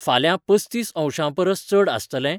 फाल्यां पस्तीस अंशांपरस चड आसतलें?